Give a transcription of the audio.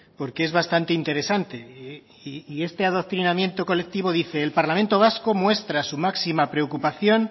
porque es bastante interesante y este adoctrinamiento colectivo dice el parlamento vasco muestra su máxima preocupación